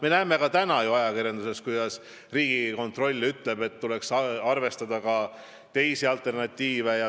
Ent me näeme ju ajakirjanduses, kuidas Riigikontroll ütleb, et tuleks arvestada ka teisi alternatiive.